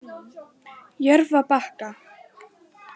Jörfabakka